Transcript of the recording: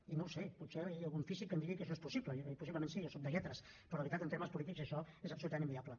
i no ho sé potser hi ha algun físic que em digui que això és possible i possiblement sí jo sóc de lletres però de veritat en termes polítics això és absolutament inviable